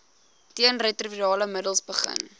teenretrovirale middels begin